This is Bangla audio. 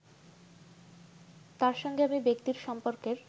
তার সঙ্গে আমি ব্যক্তির সম্পর্কের